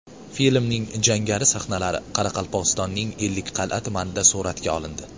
Filmning jangari sahnalari Qoraqalpog‘istonning Ellikqal’a tumanida suratga olindi.